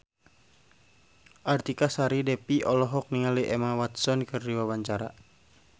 Artika Sari Devi olohok ningali Emma Watson keur diwawancara